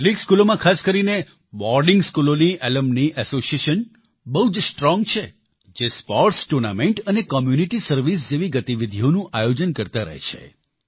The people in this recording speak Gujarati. કેટલીક સ્કૂલોમાં ખાસ કરીને બોર્ડિંગ સ્કૂલોની એલ્યુમની એસોસિએશન બહુ જ સ્ટ્રોંગ છે જે સ્પોર્ટ્સ ટૂર્નામેન્ટ અને કોમ્યુનિટી સર્વિસ જેવી ગતિવિધીઓનું આયોજન કરતા રહે છે